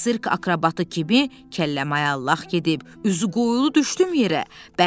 Sirk akrobatı kimi kəlləmayallaq gedib üzü qoyulu düşdüm yerə.